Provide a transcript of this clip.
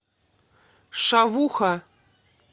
шавуха